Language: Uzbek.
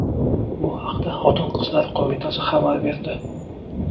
Bu haqda Xotin-qizlar qo‘mitasi xabar berdi.